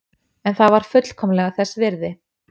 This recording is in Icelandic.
En það var fullkomlega þess virði.